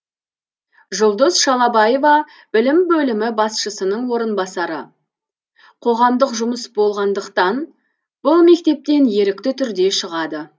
жұлдыз шалабаева білім бөлімі басшысының орынбасары қоғамдық жұмыс болғандықтан бұл мектептен ерікті түрде шығады